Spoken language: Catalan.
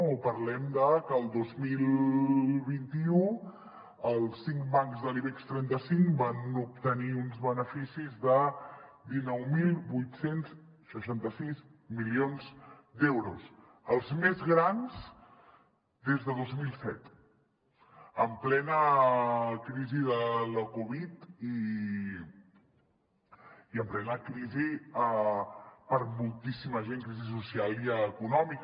o parlem de que el dos mil vint u els cinc bancs de l’ibex trenta cinc van obtenir uns beneficis de dinou mil vuit cents i seixanta sis milions d’euros els més grans des de dos mil set en plena crisi de la covid i en plena crisi per a moltíssima gent crisi social i econòmica